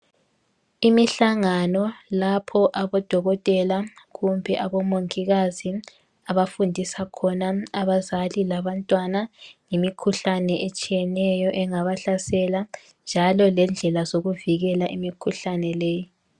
Imihlangano lapho abodokotela kumbe abomongikazi abafundisa khona abazali labantwana ngemikhuhlane etshiyeneyo engabahlasela, njalo lendlela zokuvikela imikhuhlane leyi.